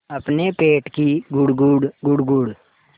अपने पेट की गुड़गुड़ गुड़गुड़